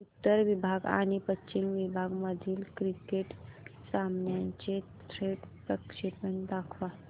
उत्तर विभाग आणि पश्चिम विभाग मधील क्रिकेट सामन्याचे थेट प्रक्षेपण दाखवा